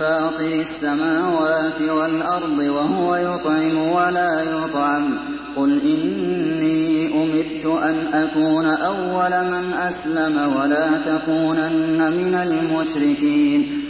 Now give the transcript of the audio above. فَاطِرِ السَّمَاوَاتِ وَالْأَرْضِ وَهُوَ يُطْعِمُ وَلَا يُطْعَمُ ۗ قُلْ إِنِّي أُمِرْتُ أَنْ أَكُونَ أَوَّلَ مَنْ أَسْلَمَ ۖ وَلَا تَكُونَنَّ مِنَ الْمُشْرِكِينَ